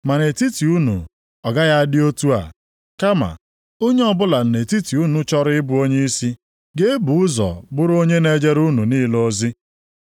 Ma nʼetiti unu ọ gaghị adị otu a. Kama, onye ọbụla nʼetiti unu chọrọ ịbụ onyeisi, ga-ebu ụzọ bụrụ onye na-ejere unu niile ozi.